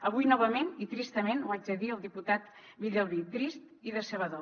avui novament i tristament ho haig de dir al diputat villalbí trist i decebedor